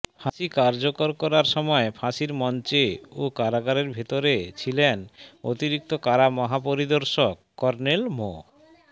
ফাঁসি কার্যকর করার সময় ফাঁসির মঞ্চে ও কারাগারের ভেতরে ছিলেন অতিরিক্ত কারা মহাপরিদর্শক কর্নেল মো